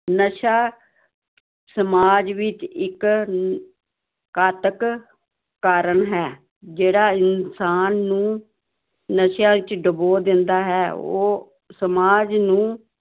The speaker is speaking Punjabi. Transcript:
ਨਸ਼ਾ ਸਮਾਜ ਵਿੱਚ ਇੱਕ ਘਾਤਕ ਕਾਰਨ ਹੈ, ਜਿਹੜਾ ਇਨਸਾਨ ਨੂੰ ਨਸ਼ਿਆਂ ਵਿੱਚ ਡੁਬੋ ਦਿੰਦਾ ਹੈ ਉਹ ਸਮਾਜ ਨੂੰ